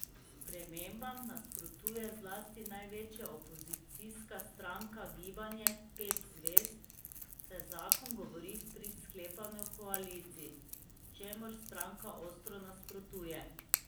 Spremembam nasprotuje zlasti največja opozicijska stranka Gibanje pet zvezd, saj zakon govori v prid sklepanju koalicij, čemur stranka ostro nasprotuje.